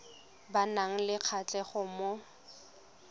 ba nang le kgatlhego mo